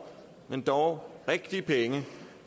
men dog rigtige penge